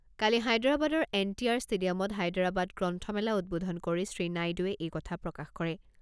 কালি হায়দৰাবাদৰ N T R ষ্টেডিয়ামত হায়দৰাবাদ গ্ৰন্থমেলা উদ্বোধন কৰি শ্ৰীনাইডুৱে এই কথা প্ৰকাশ কৰে।